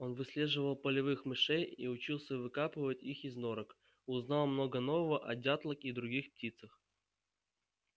он выслеживал полевых мышей и учился выкапывать их из норок узнал много нового о дятлах и других птицах